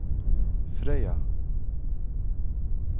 Frøya